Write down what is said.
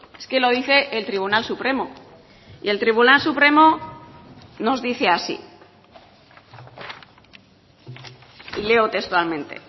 es que lo dice el tribunal supremo y el tribunal supremo nos dice así y leo textualmente